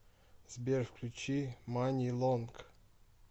сбер включи мани лонг